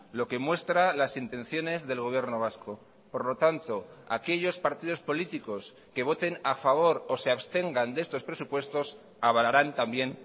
lo que muestra las intenciones del gobierno vasco por lo tanto aquellos partidos políticos que voten a favor o se abstengan de estos presupuestos avalarán también